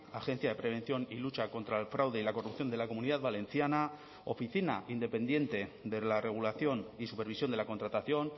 agencia de prevención y lucha contra el fraude y la corrupción de la comunidad valenciana oficina independiente de la regulación y supervisión de la contratación